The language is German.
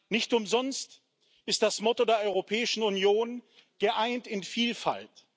Nicht umsonst ist das Motto der Europäischen Union Geeint in Vielfalt.